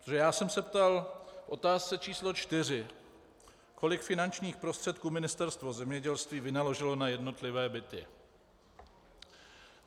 Protože já jsem se ptal v otázce č. 4, kolik finančních prostředků Ministerstvo zemědělství vynaložilo na jednotlivé byty.